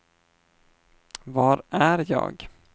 var är jag